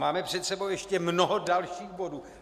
Máme před sebou ještě mnoho dalších bodů.